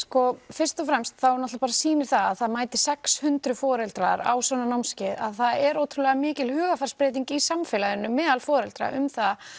fyrst og fremst þá bara sýnir það að það mæti sex hundruð foreldrar á svona námskeið að það er ótrúlega mikil hugarfarsbreyting í samfélaginu meðal foreldra um það